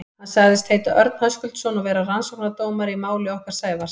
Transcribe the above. Hann sagðist heita Örn Höskuldsson og vera rannsóknardómari í máli okkar Sævars.